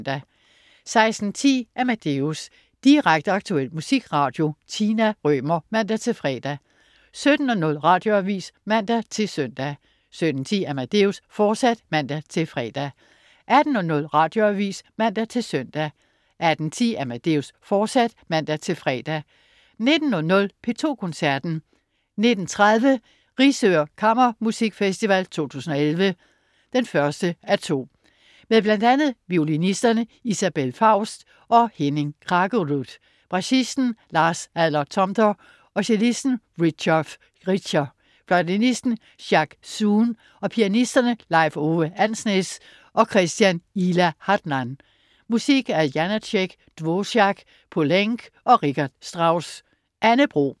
16.10 Amadeus. Direkte, aktuel musikradio. Tina Rømer (man-fre) 17.00 Radioavis (man-søn) 17.10 Amadeus, fortsat (man-fre) 18.00 Radioavis (man-søn) 18.10 Amadeus, fortsat (man-fre) 19.00 P2 Koncerten. 19.30 Risør Kammermusikfest 2011, 1:2. Med bl.a. violinisterne Isabelle Faust og Henning Kraggerud, bratschisten Lars Ander Tomter, cellisten Christoph Richter, fløjtenisten Jacques Zoon og pianisterne Leif Ove Andsnes og Christian Ihla Hadland. Musik af Janácek, Dvorák, Poulenc og Richard Strauss. Anne Bro